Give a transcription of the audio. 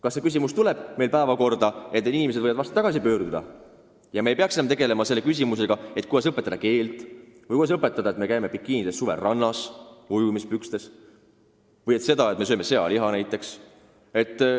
Kas see küsimus tuleb meil päevakorrale, et need inimesed võiksid varsti tagasi pöörduda ja me ei peaks tegelema muredega, kuidas õpetada neile eesti keelt, kuidas selgitada neile, et me käime suvel rannas bikiinides või ujumispükstes, või seda, et me sööme sealiha?